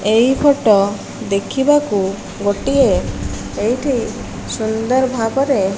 ଏହି ଫଟ ଦେଖି ବାକୁ ଗୋଟିଏ ଏହିଟି ସୁନ୍ଦର ଭାବରେ --